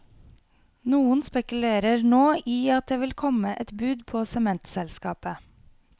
Noen spekulerer nå i at det vil komme et bud på sementselskapet.